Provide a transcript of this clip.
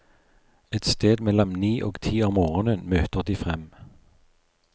Et sted mellom ni og ti om morgenen møter de frem.